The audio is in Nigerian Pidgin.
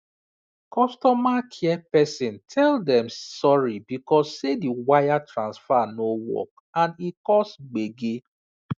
customer care person tell dem sorry because say the wire transfer no work and e cause gbege